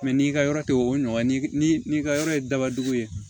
n'i ka yɔrɔ tɛ o ɲɔgɔn ye ni ka yɔrɔ ye dabajugu ye